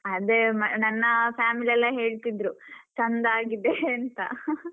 ಅದೇ ನನ್ನ family ಎಲ್ಲ ಹೇಳ್ತಿದ್ರು ಚಂದ ಆಗಿದೆ ಅಂತ .